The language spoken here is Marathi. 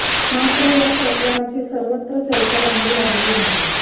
मात्र या प्रकरणाची सर्वत्र चर्चा रंगू लागली आहे